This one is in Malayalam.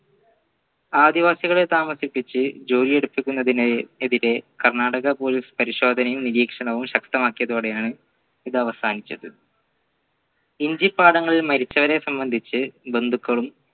ആദിവാസികളെ താമസിപ്പിച്ച് ജോലി എടുപ്പിക്കുന്നതിന് എതിരെ കർണാടക police പരിശോധനയും നിരീക്ഷണവും ശക്തമാക്കിയതോടെയാണ് ഇത് അവസാനിച്ചത് ഇഞ്ചി പാടങ്ങളിൽ മരിച്ചവരെ സംബന്ധിച്ച് ബന്ധുക്കളും